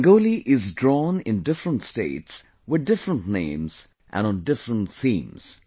Rangoli is drawn in different states with different names and on different themes